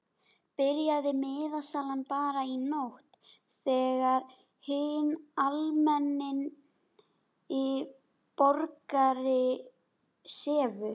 Byrjaði miðasalan bara í nótt þegar hinn almenni borgari sefur?